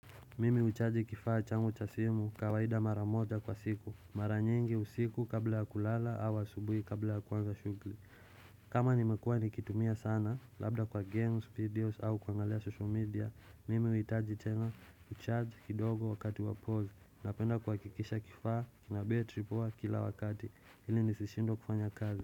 Mimi huchaji kifaa changu chasimu kawaida mara moja kwa siku mara nyingi usiku kabla ya kulala au asubuhi kabla ya kwanza shughuli kama nimekua nikitumia sana labda kwa games videos au kwa kuangalia social media Mimi huitaji tena uchaji kidogo wakati wa pause na penda kwa kikisha kifaa na betri poa kila wakati ili nisishindwe kufanya kazi.